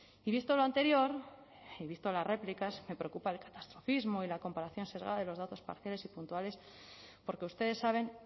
y visto lo anterior y visto las réplicas me preocupa el catastrofismo y la comparación sesgada de los datos parciales y puntuales porque ustedes saben